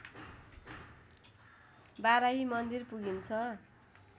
बाराही मन्दिर पुगिन्छ